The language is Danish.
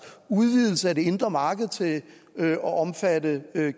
udvidelse af det indre marked til at omfatte